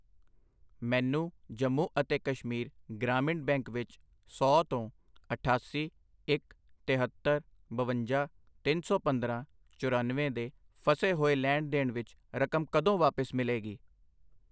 ਮੈਨੂੰ ਜੰਮੂ ਅਤੇ ਕਸ਼ਮੀਰ ਗ੍ਰਾਮੀਣ ਬੈਂਕ ਵਿੱਚ ਸੌ ਤੋਂ ਅਠਾਸੀ, ਇੱਕ, ਤਿਹੱਤਰ, ਬਵੰਜਾ, ਤਿੰਨ ਸੌ ਪੰਦਰਾਂ, ਚਰਾਨਵੇਂ ਦੇ ਫਸੇ ਹੋਏ ਲੈਣ ਦੇਣ ਵਿੱਚ ਰਕਮ ਕਦੋਂ ਵਾਪਸ ਮਿਲੇਗੀ?